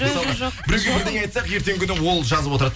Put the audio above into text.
мысалғы біреуге бірдене айтса ертеңгі күні ол жазып отырады